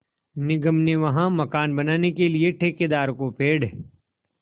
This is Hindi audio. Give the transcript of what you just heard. निगम ने वहाँ मकान बनाने के लिए ठेकेदार को पेड़